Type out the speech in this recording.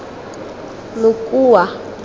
mokua